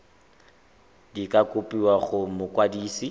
di ka kopiwa go mokwadise